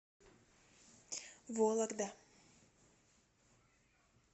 вологда